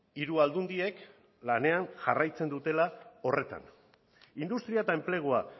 hiru aldundiek lanean jarraitzen dutela horretan industria eta enplegua